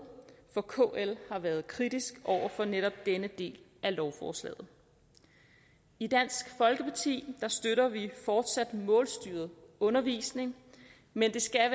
for kl har været kritisk over for netop denne del af lovforslaget i dansk folkeparti støtter vi fortsat målstyret undervisning men det skal